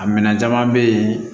A minɛn caman bɛ yen